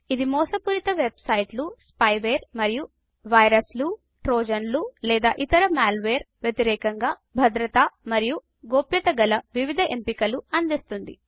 ఇది మోసపూరిత వెబ్ సైట్లు స్పైవేర్ మరియు వైరస్లు ట్రోజన్లు లేదా ఇతర మాల్వేర్ వ్యతిరేకంగా భద్రత మరియు గోప్యతా గల వివిధ ఎంపికలను అందిస్తుంది